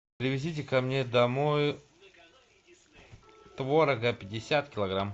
привезите ко мне домой творога пятьдесят килограмм